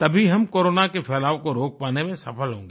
तभी हम कोरोना के फैलाव को रोक पाने में सफल होंगे